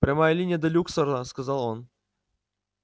прямая линия до люксора сказал он